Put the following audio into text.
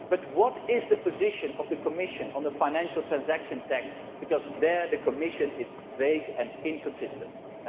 What is the position of the Commission on the financial transaction tax, because the Commission is vague and inconsistent here?